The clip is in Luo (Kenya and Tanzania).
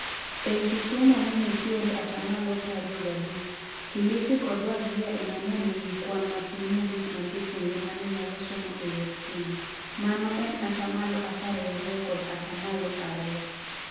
Ei Kisumu nenitiere atamalo prario gabich. Kilifi kod Wajir eme ne nigo kwan matin mogik mar jopuonjre mane nyalo somo e yor simo. Mano en atamalo apar gario kod atamalo ario.